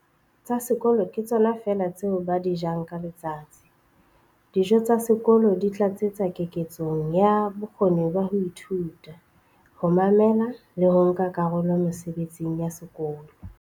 "tsa sekolo ke tsona feela tseo ba di jang ka letsatsi. Dijo tsa sekolo di tlatsetsa keketsong ya bokgoni ba ho ithuta, ho mamela le ho nka karolo mesebetsing ya sekolo".